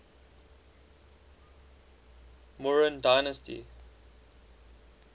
mauryan dynasty